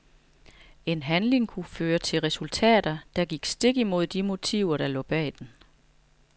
En handling kunne føre til resultater, der gik stik imod de motiver der lå bag den.